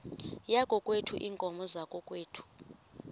yakokwethu iinkomo zakokwethu